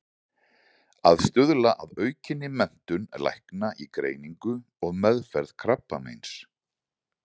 Að stuðla að aukinni menntun lækna í greiningu og meðferð krabbameins.